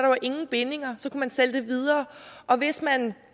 jo ingen bindinger så kunne man sælge det videre og hvis man